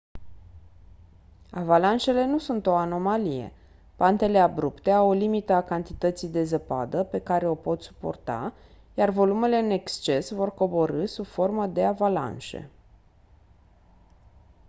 avalanșele nu sunt o anomalie pantele abrupte au o limită a cantității de zăpadă pe care o pot suporta iar volumele în exces vor coborî sub formă de avalanșe